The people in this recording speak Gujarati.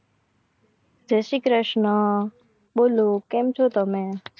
જય શ્રી કૃષ્ણ બોલો કેમ છો તમે?